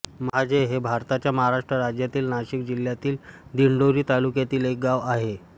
महाजे हे भारताच्या महाराष्ट्र राज्यातील नाशिक जिल्ह्यातील दिंडोरी तालुक्यातील एक गाव आहे